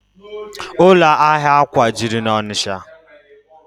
Ụlọ ahịa akwà juru n'Ọnịcha